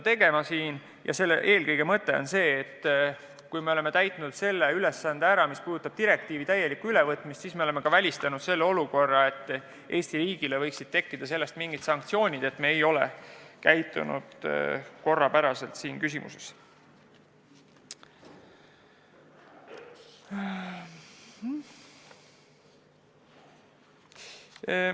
Mõte on eelkõige see, et kui me oleme täitnud ülesande, mis seisneb direktiivi täielikus ülevõtmises, siis me oleme välistanud võimaluse, et Eesti riigile võiksid tekkida sanktsioonid, kuna me ei ole ettenähtult käitunud.